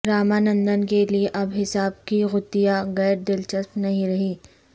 رامانندن کے لیئے اب حساب کی گتھیاں غیر دلچسپ نہیں رہیں